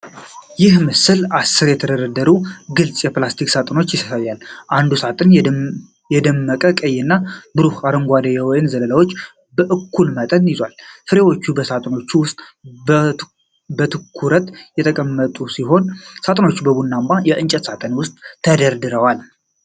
ይህ ምስል አሥር የተደረደሩ ግልጽ የፕላስቲክ ሳጥኖች ያሳያል። እያንዳንዱ ሳጥን የደመቀ ቀይ እና ብሩህ አረንጓዴ የወይን ዘለላዎችን በእኩል መጠን ይዟል። ፍሬዎቹ በሳጥኖቹ ውስጥ በትኩረት የተቀመጡ ሲሆኑ፣ ሳጥኖቹም በቡናማ የእንጨት ሳጥን ውስጥ ተደርድረዋል።